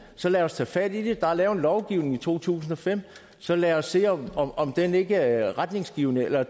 så lad os tage fat i det der er lavet en lovgivning i to tusind og fem så lad os se om den ikke er retningsgivende eller